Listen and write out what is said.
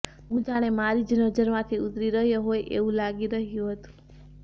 હું જાણે મારીજ નજરમાંથી ઉતરી રહ્યો હોય એવું લાગી રહ્યું હતું